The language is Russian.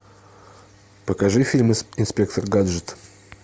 покажи фильм инспектор гаджет